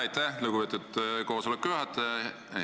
Aitäh, lugupeetud koosoleku juhataja!